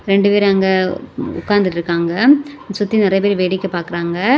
ரெண்டு பேர் அங்க உக்காந்துட்டு இருக்காங்க சுத்தி நிறைய பேரு வேடிக்கை பாக்குறாங்க.